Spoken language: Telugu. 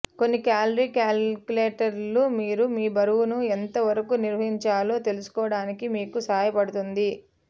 కొన్ని క్యాలరీ కాలిక్యులేటర్లు మీరు మీ బరువును ఎంత వరకు నిర్వహించాలో తెలుసుకోవడానికి మీకు సహాయపడుతుంది